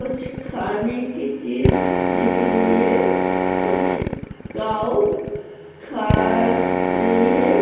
कुछ खाने की चीज दिख रही है| कुछ काऊ खा रही है।